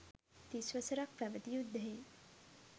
තිස් වසරක් පැවති යුද්ධයෙන්